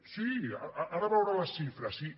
sí ara en veurà les xifres sí